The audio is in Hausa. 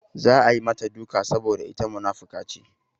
Za a yi mata duka saboda ita munafuka ce.